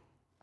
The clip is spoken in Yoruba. iṣẹ́ rẹ?